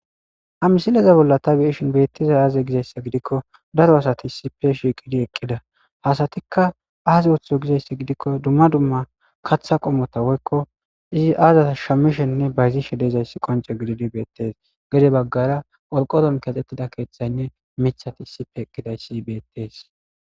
amisileza bolla tabiishin beettiza aaze gizaysse gidikko daro asati sipe shiiqidi eqqida hasatikka aaze woththizo gizaysse gidikko dumma dumma katha qommota woykko izi aazata shammishenne bayzi shedeezayssi qonce gididi beettes gede baggara olqoron kaxxettida keeththaynne mithati sipe eqqidayssi beettees